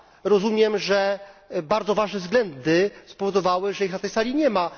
Rozumiem, że bardzo ważne względy spowodowały, że ich na tej sali nie ma.